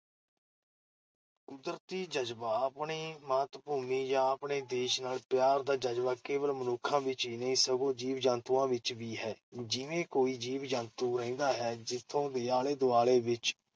ਕੁਦਰਤੀ ਜਜ਼ਬਾ-ਆਪਣੀ ਮਾਤ-ਭੂਮੀ ਜਾਂ ਆਪਣੇ ਦੇਸ਼ ਨਾਲ ਪਿਆਰ ਦਾ ਜਜ਼ਬਾ ਕੇਵਲ ਮਨੁੱਖਾਂ ਵਿਚ ਹੀ ਨਹੀਂ, ਸਗੋਂ ਜੀਵ-ਜੰਤੂਆਂ ਵਿਚ ਵੀ ਹੈ। ਜਿਵੇਂ ਕੋਈ ਜੀਵ-ਜੰਤੂ ਰਹਿੰਦਾ ਹੈ, ਜਿੱਥੋਂ ਦੇ ਆਲੇ-ਦੁਆਲੇ ਵਿਚ